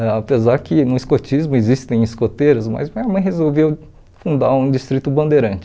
Apesar que no escotismo existem escoteiros, mas minha mãe resolveu fundar um Distrito Bandeirante.